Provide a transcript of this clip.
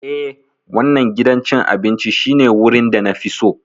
Ee, wannan gidan cin abinci shine wurin da na fi so.